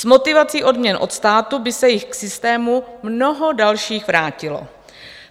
S motivací odměn od státu by se jich k systému mnoho dalších vrátilo.